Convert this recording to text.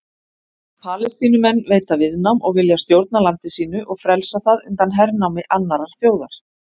Palestínumenn veita viðnám og vilja stjórna landi sínu og frelsa það undan hernámi annarrar þjóðar.